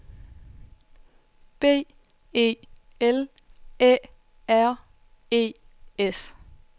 B E L Æ R E S